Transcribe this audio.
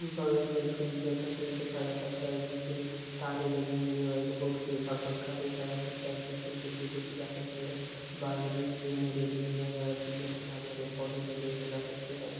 बगल मे एक फ्रिज जैसा कुछ देखा जा सकता है जिसके तारे लगी हुई है और एक पंखा देखा जा सकता है पिछे खिड़की देखी जा सकती है बाल्कनी मे रेलिंग दिया गया है पिछे कुछ हरे हरे पौधे भी देखे जा सकते है।